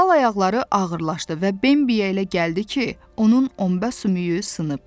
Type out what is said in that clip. Dal ayaqları ağırlaşdı və Bembi elə gəldi ki, onun omba sümüyü sınıb.